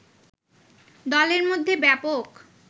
দলের মধ্যে ব্যাপক